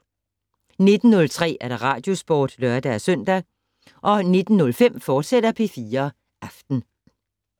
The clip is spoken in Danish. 19:03: Radiosporten (lør-søn) 19:05: P4 Aften, fortsat